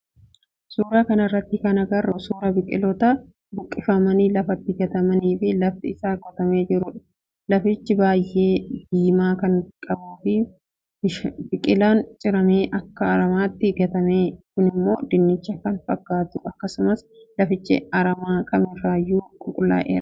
Suuraa kanarraa kan agarru suuraa biqilaawwaan buqqifamanii lafatti gatamanii fi lafti isaa qotamee jirudha. Lafichi biyyee diimaa kan qabuu fi biqilaan ciramee akka aramaatti gatame kunimmoo dinnicha kan fakkaatu akkasumas lafichi aramaa kamirraayyuu qulqullaa'eera.